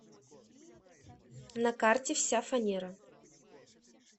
на карте вся фанера